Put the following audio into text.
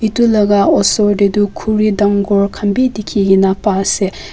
eto laga osor teh toh kuri tangore kanbe teki kina pai asee.